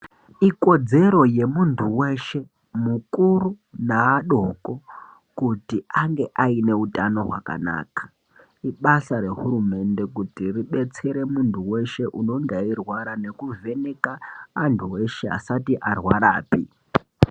Ikodzero yemuntu weshe mukuru neadoko kuti ange ane hutano hwakanaka ibasa rehurumende kuti ibatsire muntu weshe anonga eirwara nekuvheneka nemuntu weshe asati arwarapi.